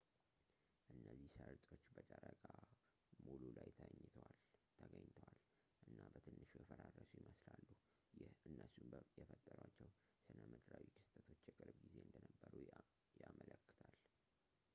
እነዚህ ሰርጦች በጨረቃ ሙሉ ላይ ተገኝተዋል እና በትንሹ የፈራረሱ ይመስላሉ ይህ እነሱን የፈጠሯቸው ስነምድራዊ ክስተቶች የቅርብ ጊዜ እንደነበሩ ያመለክታል